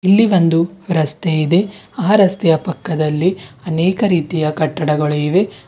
ಇಲ್ಲಿ ಒಂದು ರಸ್ತೆ ಇದೆ ಆ ರಸ್ತೆಯ ಪಕ್ಕ ಅನೇಕ ರೀತಿಯ ಕಟ್ಟಡಗಳು ಇದೆ.